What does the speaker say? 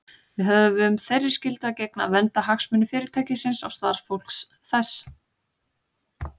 Við höfum þeirri skyldu að gegna að vernda hagsmuni Fyrirtækisins og starfsfólks þess.